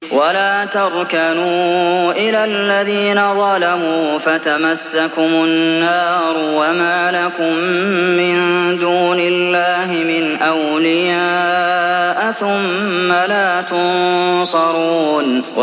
وَلَا تَرْكَنُوا إِلَى الَّذِينَ ظَلَمُوا فَتَمَسَّكُمُ النَّارُ وَمَا لَكُم مِّن دُونِ اللَّهِ مِنْ أَوْلِيَاءَ ثُمَّ لَا تُنصَرُونَ